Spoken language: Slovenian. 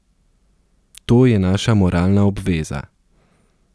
To je naša moralna obveza.